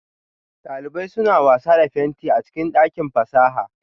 Daliban suna wasa da fenti a cikin dakin fasaha